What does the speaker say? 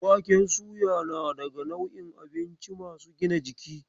Waken suya na daga nau'in abinci masu gina jiki.